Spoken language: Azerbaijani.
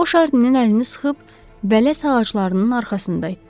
O Şarninin əlini sıxıb bələs ağaclarının arxasında itdi.